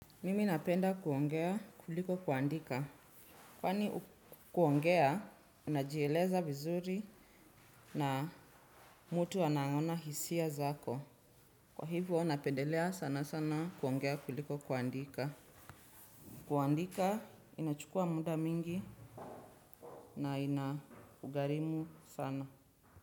Mimi napenda kuongea kuliko kuandika. Kwani kuongea, unajieleza vizuri na mtu anaona hisia zako. Kwa hivyo, napendelea sana sana kuongea kuliko kuandika. Kuandika, inachukua muda mingi na ina gharimu sana.